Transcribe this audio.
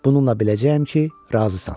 Bununla biləcəyəm ki, razısan.